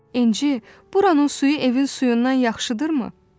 İnci, buranın suyu evin suyundan yaxşıdırmı?